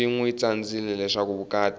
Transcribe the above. swi nwi tsandzileswa vukati